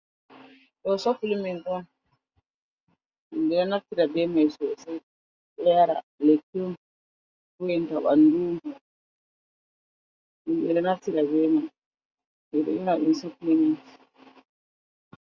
Do sofliment on himɓe naftira be mai sosai ɗo yara, lekki on vo’inta ɓandu himbe naftira be man, ɗum sobliment